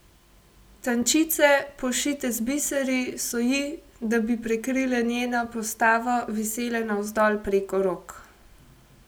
Tančice, pošite z biseri, so ji, da bi prikrile njeno postavo, visele navzdol preko rok.